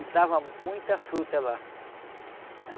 E dava muita fruta lá.